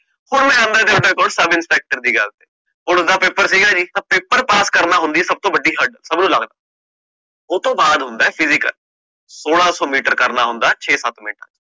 ਹੁਣ ਮੈਂ ਆਂਦਾ ਸਬ INSPECTOR ਦੀ ਗੱਲ ਤੇ, ਹੁਣ ਓਹਦਾ PAPER ਸੀਗਾ ਜੀ ਤਾ PAPER PASS ਕਰਨਾ ਹੁੰਦਾ, ਸਬ ਤੋਂ ਵਡੀ ਹਾੜ, ਉਤੋਂ ਬਾਅਦ ਹੁੰਦਾ PHYSICAL, ਸੋਲਾਂ ਸੋ ਮੀਟਰ ਕਰਨਾ ਹੁੰਦਾ ਛੇ ਸਤ ਮਿੰਟਾ ਚ